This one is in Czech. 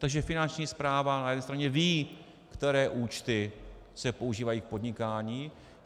Takže Finanční správa na jedné straně ví, které účty se používají k podnikání.